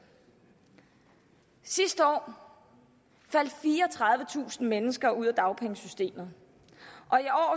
sidste år faldt fireogtredivetusind mennesker ud af dagpengesystemet og i år